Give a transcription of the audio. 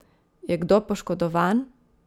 Je kdo poškodovan?